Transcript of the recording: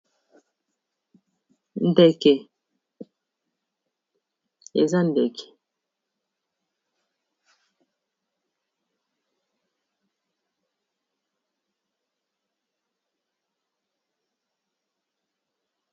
Ndeke ! eza ndeke .